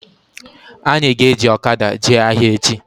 Anyị ga-eji ọkada jee ahịa echi